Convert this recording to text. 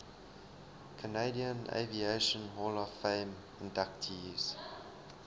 canadian aviation hall of fame inductees